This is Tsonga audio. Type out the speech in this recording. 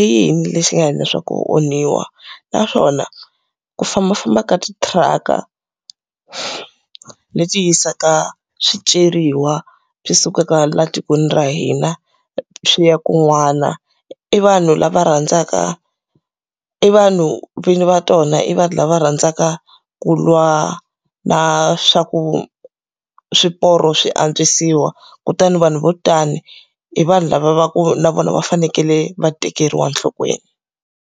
I yini lexi nga endla leswaku ku onhiwa? Naswona ku fambafamba ka ti-truck-a, leti ti yisaka swiceriwa swi sukaka laha tikweni ra hina swi ya kun'wana, i vanhu lava rhandzaka i vanhu vinyi va tona i vanhu lava rhandzaka ku lwa na swa ku swiporo swi antswisiwa? Kutani vanhu vo tani, i vanhu lava va ku na vona va fanekele va tekeriwa enhlokweni.